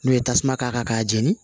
N'u ye tasuma k'a kan k'a jeni